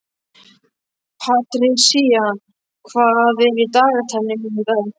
Patrisía, hvað er í dagatalinu mínu í dag?